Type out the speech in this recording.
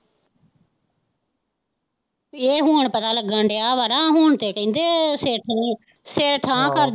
ਇਹ ਹੁਣ ਪਤਾ ਲੱਗਣ ਦਿਆਂ ਵਾ ਨਾ ਹੁਣ ਤੇ ਸਿੱਖ ਨੂੰ ਸਿਰ ਠਾਹ ਕਰਦਾ।